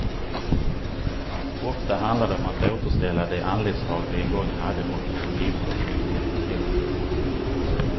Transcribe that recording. Ofta handlar det om att återställa de anletsdrag vi en gång hade och som givit oss vår identitet.